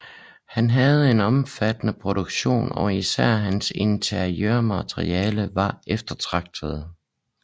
Han havde en omfattende produktion og især hans interiørmalerier var eftertragtede